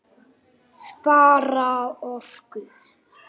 Spara orku.